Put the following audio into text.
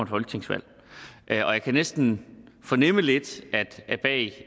folketingsvalg jeg kan næsten fornemme lidt